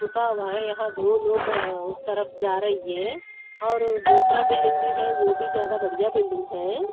रुका हुआ है यहां दो लोग उस तरफ जा रही है और दूसरा बिल्डिंग भी है वो भी ज्यादा बढ़िया बिल्डिंग है।